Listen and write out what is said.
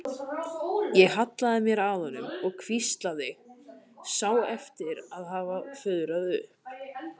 Ég hallaði mér að honum og hvíslaði, sá eftir að hafa fuðrað upp.